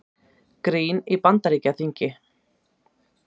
Grín í Bandaríkjaþingi